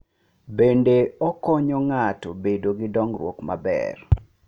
Bende, okonyo ng’ato bedo gi dongruok maber.